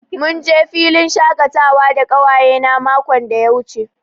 Mun je filin shakatawa da ƙawayena makon da ya wuce.